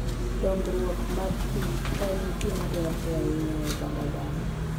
Dongruok mag kich en gima dwarore ahinya e oganda dhano.